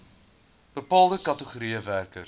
bepaalde kategorieë werkers